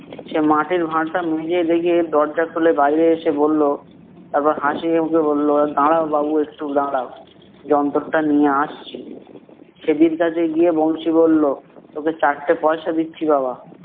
সে মাটির ভাঁড়টা মেলে রেখে দরজা খুলে বাইরে এসে বললো, তারপর হাসিমুখে বলল দাঁড়াও বাবু একটু দাঁড়াও, যন্তরটা নিয়ে আসছি। ছ্যাদীর কাছে গিয়ে বংশী বললো, তোকে চারটে পয়সে দিচ্ছি বাবা